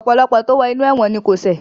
Ọ̀pọ̀lọpọ̀ tó wo inú ẹ̀wọ̀n ni kò ṣẹ̀